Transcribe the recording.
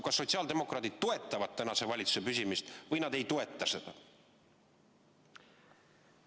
Kas sotsiaaldemokraadid toetavad praeguse valitsuse püsimist või nad ei toeta seda?